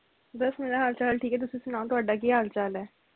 ਬਸ ਮੇਰਾ ਹਾਲ ਚਾਲ ਠੀਕ ਐ ਤੁਸੀ ਸੁਣਾਓ ਤੁਹਾਡਾ ਕੀ ਹਾਲ ਚਾਲ ਐ